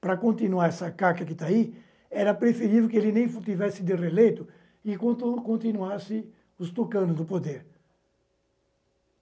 Para continuar essa caca que está aí, era preferível que ele nem tivesse de reeleito enquanto continuasse os tucanos do poder.